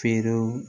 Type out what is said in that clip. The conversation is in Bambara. Feerew